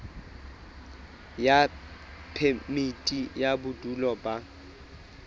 ya phemiti ya bodulo ba